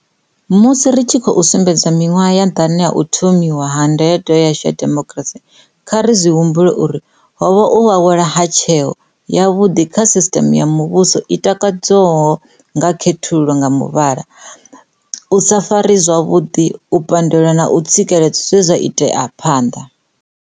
Musi ri tshi khou sumbedza miṅwaha ya ḓana ya u tho miwa ha Ndayotewa yashu ya demokirasi, kha ri zwi humbule uri ho vha u awela ha tsheo yavhuḓi kha sisiṱeme ya muvhuso i tikedzwaho nga khethululo nga muvhala, u sa farwa zwavhuḓi, u pa ndelwa na u tsikeledzwa zwe zwa itea phanḓa.